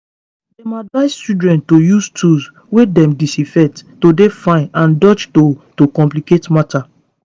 dem advise children to use tools wey dem disinfect to dey fine and dodge to to complicate matter